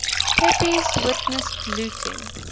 pepys witnessed looting